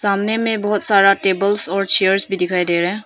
सामने में बहुत सारा टेबल्स और चेयर्स भी दिखाई दे रहा है।